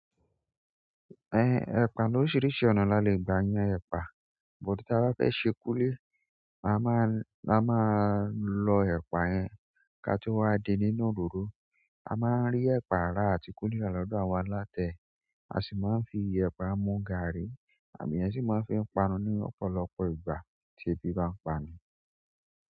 Ẹ ẹ̀pà lóríṣiríṣi ọ̀nà la lè gba yan ẹ̀pà. But ta bá fẹ́ ṣe kúli, a máa lo ẹ̀pà yẹn. Ka tó wá din nínú òròró, a máa ń rí ẹ̀pà ra àti kúli ra lọ́dọ̀ awọ́n aláta. A sì máa ń fi ẹ̀pà mú gàrí, àwọn eeyan sì máa ń fi pa nu ní ọ̀pọ̀lọpọ̀ ìgbà tí ebi bá ń pa ni.